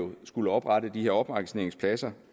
vil skulle oprette de her opmagasineringspladser